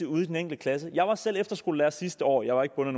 ude i den enkelte klasse jeg var selv efterskolelærer sidste år jeg var ikke bundet